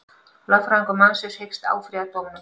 Lögfræðingur mannsins hyggst áfrýja dómnum